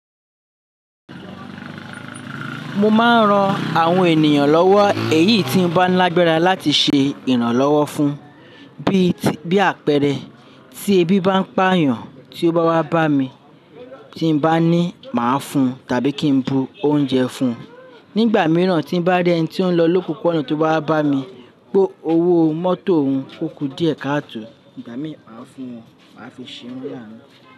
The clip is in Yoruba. Mo máa ń ran àwọn ènìyàn lọ́wọ́ èyí tí ń bá lágbára láti ṣe ìrànlọ́wọ́ fún, bíi àpẹẹrẹ tí ẹbí bá ń pà yàn tí ó bá wá bá mi tí ń bá ní máa fún tàbí kí ń bu oúnjẹ fún. Nígbà mìíràn tí bá rí ẹni tí bari eni ti n lọ lopopo ona to bá wá bá mi, pe owó mótò òun ó ku díẹ̀ káàtò, ìgbà mí màá fún wọn, màá fi ṣe wọ́n lánu.